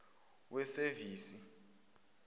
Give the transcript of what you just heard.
wesevisi